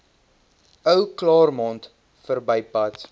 ou claremont verbypad